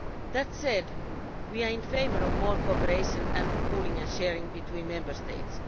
That said, we are in favour of more cooperation and pooling and sharing between Member States.